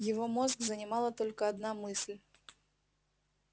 его мозг занимала только одна мысль